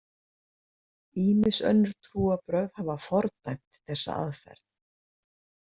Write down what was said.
Ýmis önnur trúarbrögð hafa fordæmt þessa aðferð.